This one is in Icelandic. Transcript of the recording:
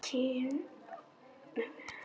Kynóður með öðrum orðum.